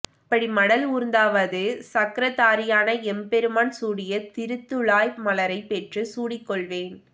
அப்படி மடல் ஊர்ந்தாவது சக்ரதாரியான எம்பெருமான் சூடிய திருத்துழாய் மலரைப் பெற்றுச் சூடிக் கொள்வேன்